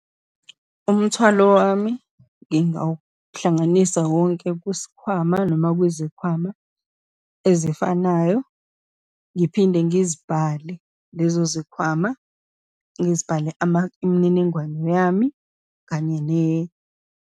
Umthwalo wami ngingawuhlanganisa wonke kusikhwama noma kwizikhwama ezifanayo, ngiphinde ngizibhale lezo zikhwama, ngizibhale ama, imininingwane yami kanye.